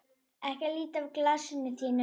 Ekki líta af glasinu þínu.